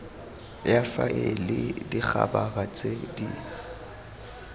ya faele dikhabara tse di